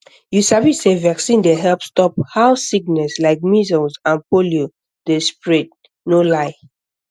you sabi say vaccine dey help stop how sickness like measles and polio dey spread no lie